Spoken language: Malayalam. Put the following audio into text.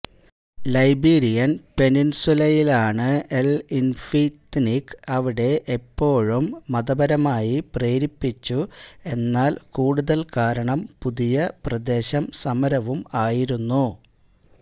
ലൈബീരിയൻ പെനിൻസുലയിലാണ് ൽ ഇന്ഫിഘ്തിന്ഗ് അവിടെ എപ്പോഴും മതപരമായി പ്രേരിപ്പിച്ചു എന്നാൽ കൂടുതൽ കാരണം പുതിയ പ്രദേശം സമരവും ആയിരുന്നു